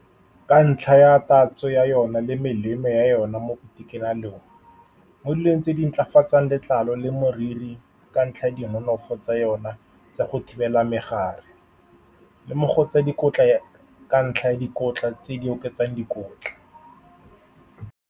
Ka ntlha ya tatso ya yone le melemo ya yone mo itekanelong, mo dilong tse di ntlafatsang letlalo le moriri, ka ntlha ya di nonofo tsa yone tsa go thibela megare le mo go tsa dikotla, ka ntlha ya dikotla tse di oketsang dikotla.